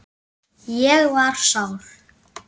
Ég var sár.